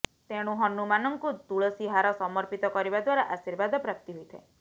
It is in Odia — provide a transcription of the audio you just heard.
ତେଣୁ ହନୁମାନଙ୍କୁ ତୁଳସୀ ହାର ସମର୍ପିତ କରିବା ଦ୍ୱାରା ଆଶୀର୍ବାଦ ପ୍ରାପ୍ତି ହୋଇଥାଏ